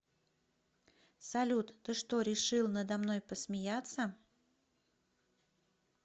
салют ты что решил надо мной посмеяться